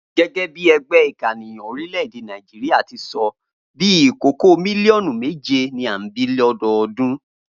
Gé̩gé̩ bí e̩gbé̩ ìkànìyàn orílè̩-èdè Nàìjíríà ti so̩, bí i ìkókó mílíò̩nù méje ni à ń bí l’ó̩do̩o̩dún